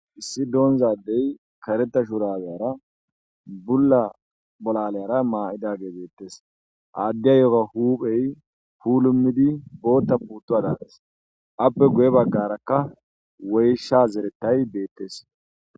Issi donizza adeyi kaaretta shurabiya bulla bolaliyara mayidageyi betees.adiyagayo huphpheyi pulimiddi bota putuwada gees,appe guye bagarakka woyishsha zeretayyi betees.